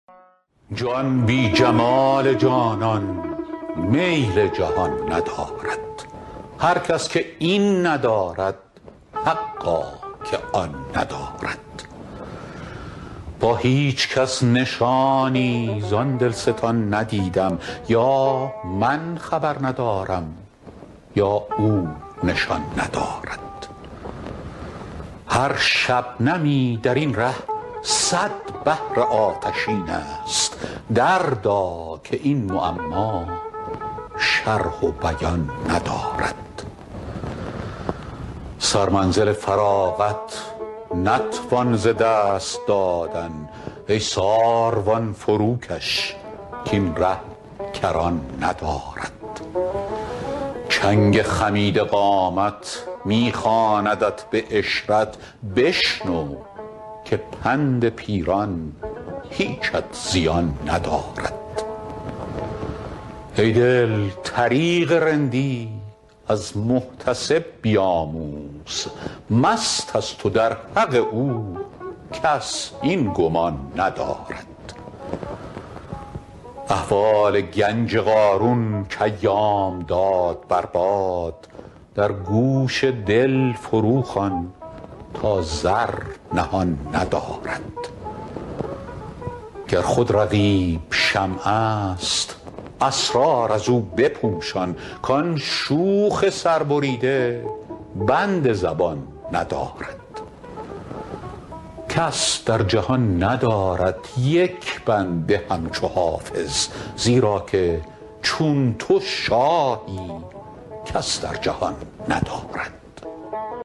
جان بی جمال جانان میل جهان ندارد هر کس که این ندارد حقا که آن ندارد با هیچ کس نشانی زان دلستان ندیدم یا من خبر ندارم یا او نشان ندارد هر شبنمی در این ره صد بحر آتشین است دردا که این معما شرح و بیان ندارد سرمنزل فراغت نتوان ز دست دادن ای ساروان فروکش کاین ره کران ندارد چنگ خمیده قامت می خواندت به عشرت بشنو که پند پیران هیچت زیان ندارد ای دل طریق رندی از محتسب بیاموز مست است و در حق او کس این گمان ندارد احوال گنج قارون کایام داد بر باد در گوش دل فروخوان تا زر نهان ندارد گر خود رقیب شمع است اسرار از او بپوشان کان شوخ سربریده بند زبان ندارد کس در جهان ندارد یک بنده همچو حافظ زیرا که چون تو شاهی کس در جهان ندارد